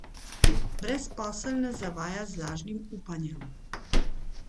Brezposelne zavaja z lažnim upanjem.